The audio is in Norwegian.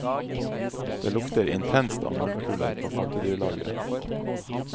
Det lukter intenst av møllkuler på pattedyrlageret.